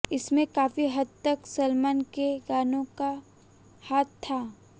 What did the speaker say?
इसमें काफी हद तक सलमान के गानों का हाथ था